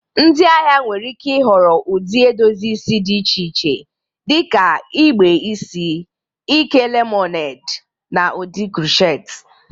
Ndị ahịa nwere ike ịhọrọ ụdị edozi isi dị iche iche dị ka igbe isi ike lemọned, na ụdị crochet.